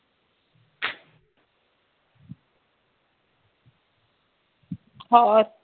ਹੋਰ